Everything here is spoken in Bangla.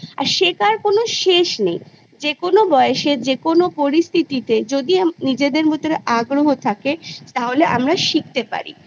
আর শেখার কোনো শেষ নেই যেকোনো বয়সে যেকোনো পরিস্থিতিতে যদি আম নিজেদের ভেতরে আগ্রহ থাকে হলে আমরা শিখতে পারি